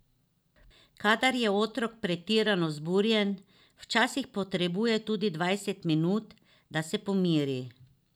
Kadar je otrok pretirano vzburjen, včasih potrebuje tudi dvajset minut, da se pomiri.